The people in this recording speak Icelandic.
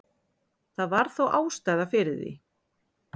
Það var þó ástæða fyrir því.